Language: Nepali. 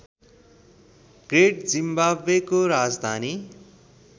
ग्रेट जिम्बाब्वेको राजधानी